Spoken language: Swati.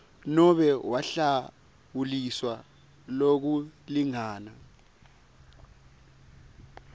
nobe wahlawuliswa lokulingana